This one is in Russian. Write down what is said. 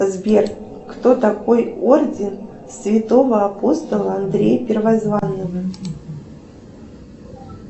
сбер кто такой орден святого апостола андрея первозванного